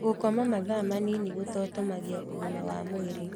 Gũkoma mathaa manini kũthotomagia ũgima wa mwĩrĩ